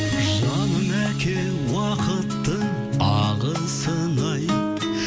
жаным әке уақыттың ағысын ай